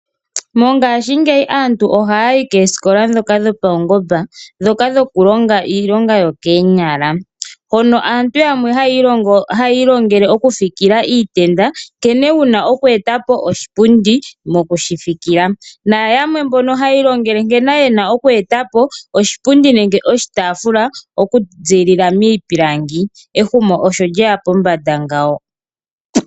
Aantu ohaya yi komahala omawaanawa naa naa negumbo ya wo opo ya vule oku kala pamwe nombili nenyanyu.